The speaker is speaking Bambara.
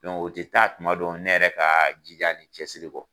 o tɛ taa tuma dɔ ne yɛrɛ ka jija ni cɛsiri kɔ.